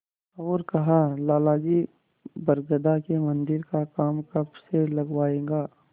और कहालाला जी बरगदा के मन्दिर का काम कब से लगवाइएगा